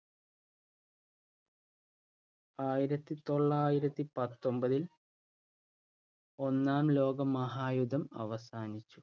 ആയിരത്തി തൊള്ളായിരത്തി പത്തൊമ്പതില്‍ ഒന്നാം ലോക മഹായുദ്ധം അവസാനിച്ചു.